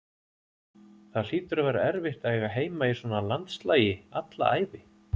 Það hlýtur að vera erfitt að eiga heima í svona landslagi alla ævi.